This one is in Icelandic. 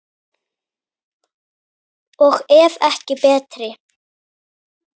Og ef ekki betri!